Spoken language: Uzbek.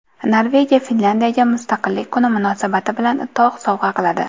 Norvegiya Finlyandiyaga mustaqillik kuni munosabati bilan tog‘ sovg‘a qiladi.